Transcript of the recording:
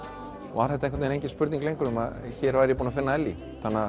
var engin spurning lengur hér væri ég búinn að finna Ellý